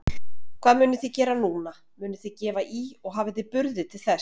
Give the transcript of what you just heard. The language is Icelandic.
Hvað munuð þið gera núna, munuð þið gefa í og hafið þið burði til þess?